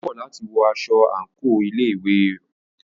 Ó kọ̀ láti wọ aṣọ àńkò ilé ìwé òún.